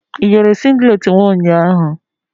Ị yiri singlet m ụnyahụ?